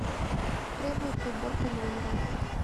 требуется уборка номера